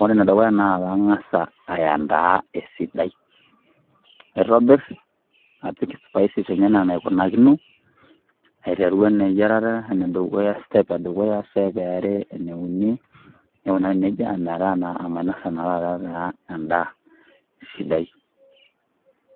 ore enedukuya na kang'asa ayandaa esidai. Naitobir, napik spices enye enaa enaikunakino, aiteru eyiarata enedukuya step edukuya, step eare, eneuni, nikunari nejia, ometaa naa omainasa taa endaa sidai.